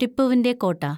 ടിപ്പുവിന്‍റെ കോട്ട